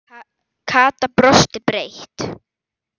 Kata brosti breitt.